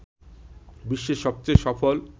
বিশ্বের সবচেয়ে সফল